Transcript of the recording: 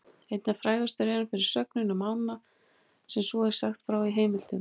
Einna frægastur er hann fyrir sögnina um ána sem svo er sagt frá í heimildum: